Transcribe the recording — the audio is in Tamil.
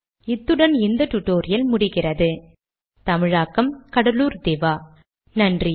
இத்துடன் இந்த டியூட்டோரியல் முடிகிறது நன்றி